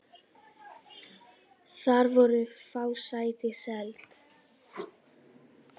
Þar voru fá sæti seld.